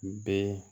Bɛɛ